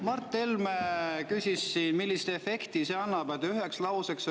Mart Helme küsis, millise efekti see annab.